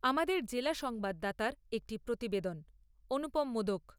আমাদের জেলা সংবাদদাতার একটি প্রতিবেদন অনুপম মোদক।